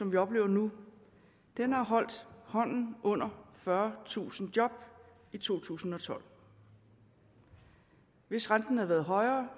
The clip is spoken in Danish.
vi oplever nu har holdt hånden under fyrretusind job i to tusind og tolv hvis renten havde været højere